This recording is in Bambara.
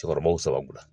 Cɛkɔrɔbaw sababu la